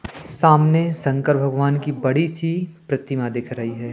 सामने शंकर भगवान की बड़ी सी प्रतिमा दिख रही है।